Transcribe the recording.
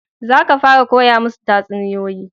Za ka fara koya musu tatsuniyoyi